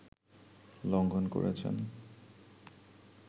লঙ্ঘন করছেন